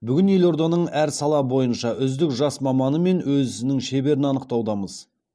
бүгін елорданың әр сала бойынша үздік жас маманы мен өз ісінің шеберін анықтаудамыз